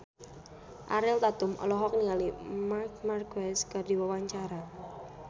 Ariel Tatum olohok ningali Marc Marquez keur diwawancara